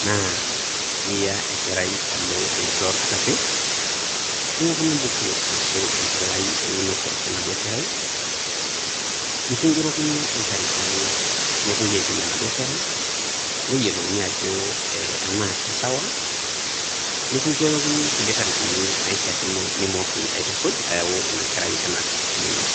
na iya enkerai alo enetii orkitarri. Kidung'okini ebuku arashu empalai einoto enaduo kerai. Nikigerokini intarikini. Nepoi aipim enaduo kerai, nayiolouni ajo enaa ke sawa. Nikigerokini nkulie tarikini naishaakino nemooki aitusuj ayau enakerai ena kilinik.